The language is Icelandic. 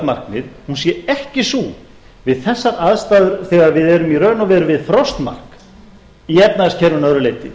markmið hún sé ekki sú við þessar aðstæður þegar við erum í raun og veru við frostmark í efnahagskerfinu að öðru leyti